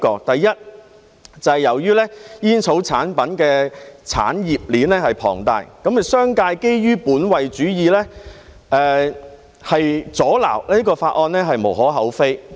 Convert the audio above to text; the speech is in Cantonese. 第一，由於煙草產品的產業鏈龐大，商界基於本位主義，阻撓法案是無可厚非的。